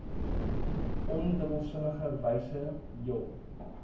ondubbelsinnige wyse jul